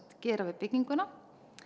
gera við bygginguna